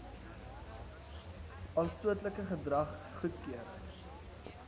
aanstootlike gedrag goedkeur